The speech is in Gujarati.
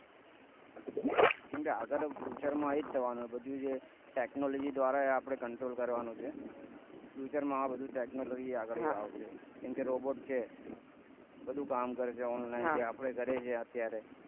કેમકે આગળ future માં એજ થવાનું કે બધું આપડે technology ધ્વારા આપડે control કરવાનું છે future માં આ બધું technology આગળ આવશે કેમ કે robot છે બધું કામ કરશે જે આપને online જે આપણે કરીએ છીએ અત્યારે